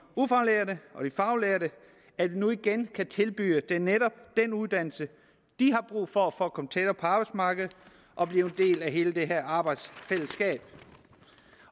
ufaglærte og de faglærte at vi nu igen kan tilbyde dem netop den uddannelse de har brug for for at komme tættere på arbejdsmarkedet og blive en del af hele det her arbejdsfællesskab